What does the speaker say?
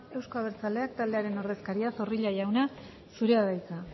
euzko abertzaleak taldearen ordezkaria zorrilla jauna zurea da hitza